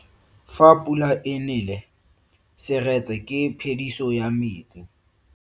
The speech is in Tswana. Fa pula e nele seretse ke phediso ya metsi.